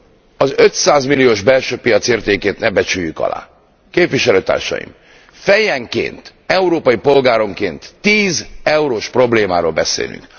Az 500 milliós belső piac értékét ne becsüljük alá! Képviselőtársaim, fejenként, európai polgáronként tízeurós problémáról beszélünk.